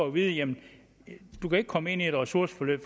at vide jamen du kan ikke komme ind i et ressourceforløb